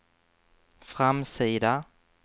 framsida